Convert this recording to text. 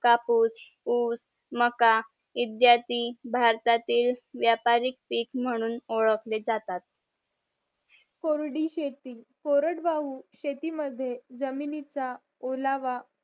कापूस ऊस मका इत्यादी भारतातील व्यापारिक पीक म्हणून ओळखले जातात कोरडी शेती कोरड भाऊ शेती मद्ये जमिनीचा ओलावा